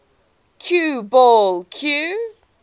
cue ball cue